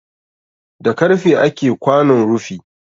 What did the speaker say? Da karfe ake kwanon rufi